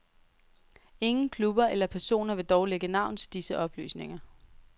Ingen klubber eller personer vil dog lægge navn til disse oplysninger.